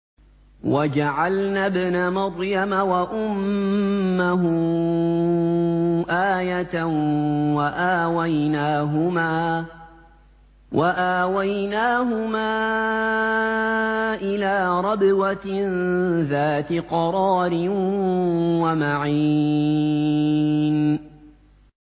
وَجَعَلْنَا ابْنَ مَرْيَمَ وَأُمَّهُ آيَةً وَآوَيْنَاهُمَا إِلَىٰ رَبْوَةٍ ذَاتِ قَرَارٍ وَمَعِينٍ